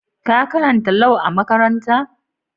Ka karanta Lau a'makaranta?